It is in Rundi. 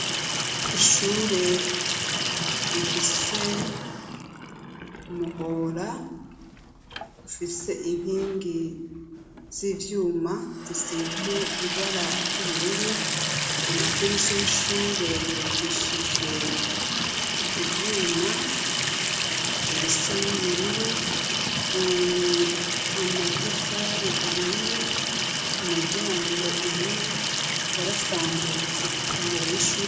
Ishure rifise umuhora ufise inkingi z'ivyuma zisizwe ibara ry'ubururu, amadirisha y'ishure yubakishijwe ivyuma bisa n'ubururu, amatafari ahiye, umuryango umwe warasambutse imbere y'ishure.